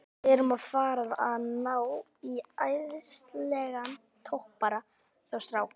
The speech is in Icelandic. Við erum að fara að ná í æðislegan toppara hjá strák